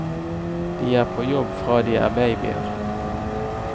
De er på jobb fra de er babyer.